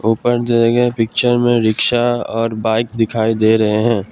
ऊपर दिये गए पिक्चर में रिक्शा और बाइक दिखाई दे रहे हैं।